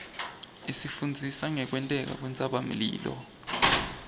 isifundzisa ngekwenteka kwentsabamlilo